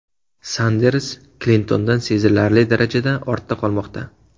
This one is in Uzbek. Sanders Klintondan sezilarli darajada ortda qolmoqda.